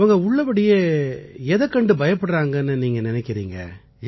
அவங்க உள்ளபடியே எதைக்கண்டு பயப்படுறாங்கன்னு நீங்க நினைக்கறீங்க